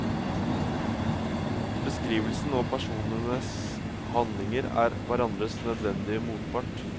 Beskrivelsen og personenes handlinger er hverandres nødvendige motpart.